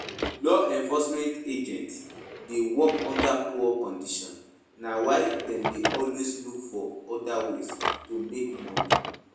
Law enforcement agents dey work under poor conditions na why dem dey always look for oda ways to make money